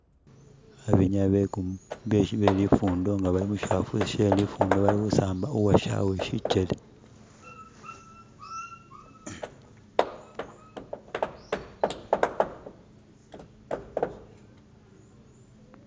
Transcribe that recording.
Abenyayi be lifundo nga bali mushisafe she lifundo bali khusamba, uwoshawe shikyele.